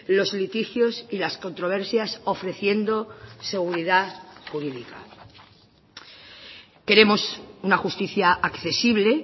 los litigios y las controversias ofreciendo seguridad jurídica queremos una justicia accesible